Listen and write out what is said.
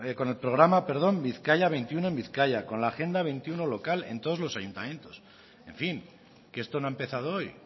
con el programa bizkaia veintiuno en bizkaia con la agenda veintiuno local en todos los ayuntamientos en fin que esto no ha empezado hoy